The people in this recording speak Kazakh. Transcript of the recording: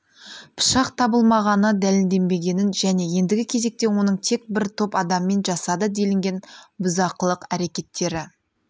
пышақ табылмағаны дәлелденбегенін және ендігі кезекте оның тек бір топ адаммен жасады делінген бұзақылық әрекеттері